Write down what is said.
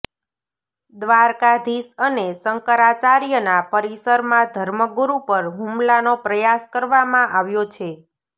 દ્વારકાધીશ અને શંકરાચાર્યના પરિસરમાં ધર્મગુરુ પર હુમલાનો પ્રયાસ કરવામાં આવ્યો છે